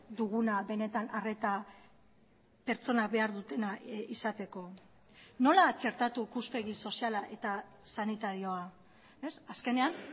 duguna benetan arreta pertsona behar dutena izateko nola txertatu ikuspegi soziala eta sanitarioa azkenean